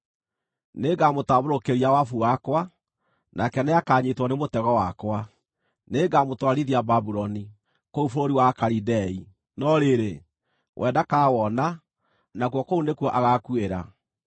Nĩngamũtambũrũkĩria wabu wakwa, nake nĩakanyiitwo nĩ mũtego wakwa; nĩngamũtwarithia Babuloni, kũu bũrũri wa Akalidei, no rĩrĩ, we ndakawona, nakuo kũu nĩkuo agaakuĩra.